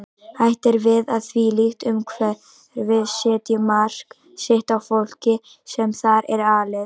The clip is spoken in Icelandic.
Hætt er við að þvílíkt umhverfi setji mark sitt á fólkið sem þar er alið.